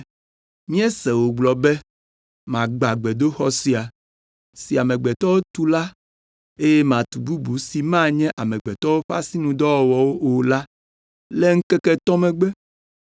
“Míese wògblɔ be, ‘Magbã gbedoxɔ sia, si amegbetɔwo tu la eye matu bubu si manye amegbetɔwo ƒe asinudɔwɔwɔ o la le ŋkeke etɔ̃ megbe.’ ”